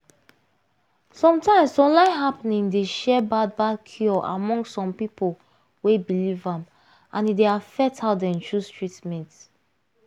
sometimes online happening dey share bad bad cure among some people wey believe am and e dey affect how dem chose treatment